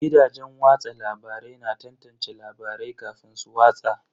Gidajen watsa labarai na tantance labarai kafin su watsa.